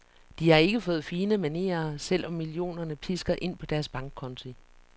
De har ikke fået fine manerer, selv om millionerne pisker ind på deres bankkonti.